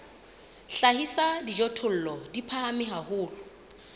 hlahisa dijothollo di phahame haholo